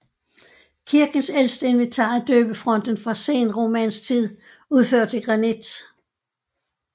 Kirkens ældste inventar er døbefonten fra senromansk tid udført i granit